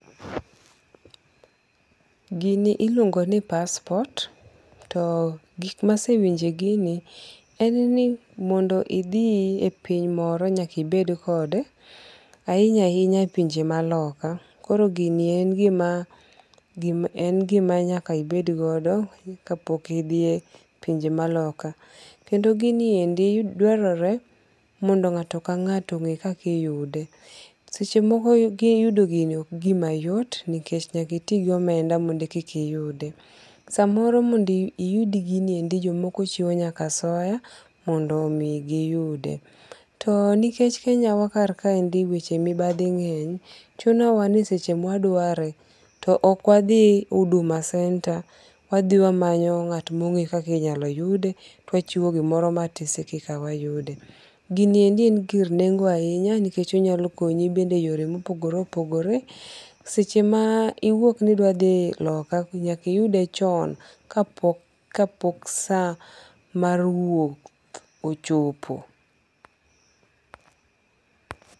Gini iluongo ni passport. To gik ma asewinjo e gini en ni mondo idhi e piny moro nyaka ibed kode, ahinya ahinya e pinje maloka. Koro gini en gima, gima, en gima nyaka ibed godo kapok idhiye pinje ma loka. Kendo giniendi dwarore ni mondo ng'ato ka ng'ato ong'e kaka iyude. Seche moko yudo gini ok gima yot nikech nyaka iti gi omenda mondo e koka iyude. Samoro mond iyud giniendi jomoko chiwo nyaka asoya mondo omi giyude. To nikech Kenya wa kar kaendi weche mibadhi ng'eny, chuno wa ni seche ma wadware to ok wadhi Huduma Center wadhi wamanyo ng'at mong'eyo kaka inyalo yude to wachiwo gimoro matis e koka wayude. Giniendi en gir nengo ahinya nikech onyalo konyi e yore mopogore opogore. Seche ma iwuok ni idwa dhi loka to nyaka iyude chon ka pok ka pok saa mar wuok ochopo.